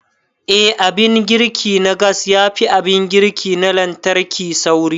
Eh, Abin girki na gas yafi abin girki na lantarki sauri.